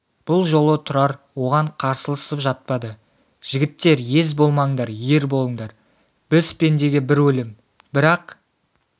бұл жолы тұрар оған қарсыласып жатпады жігіттер ез болмаңдар ер болыңдар біз пендеге бір өлім бірақ